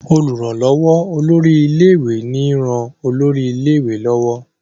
olùrànlówó olórí ilé ìwé ní ràn olórí ilé ìwé lọwọ.